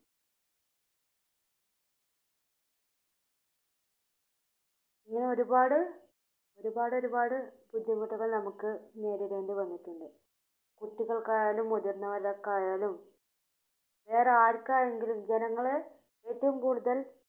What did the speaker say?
അങ്ങനെ ഒരുപാട്, ഒരുപാട്, ഒരുപാട് ബുദ്ധിമുട്ടുകൾ നമുക്ക് നേരിടേണ്ടി വന്നിട്ടുണ്ട് കുട്ടികൾക്കായാലും മുതിർന്നവർക്കായാലും വേറെ ആർക്കായെങ്കിലും ജനങ്ങളെ ഏറ്റവും കൂടുതൽ